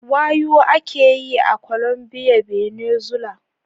Wayuu ake yi a Colombia, Venezuela